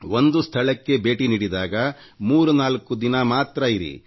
ಒಂದು ಸ್ಥಳಕ್ಕೆ ಭೇಟಿ ನೀಡಿದಾಗ 34 ದಿನ ಇರಿ